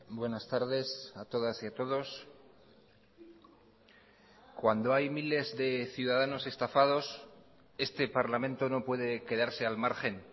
buenas tardes a todas y a todos cuando hay miles de ciudadanos estafados este parlamento no puede quedarse al margen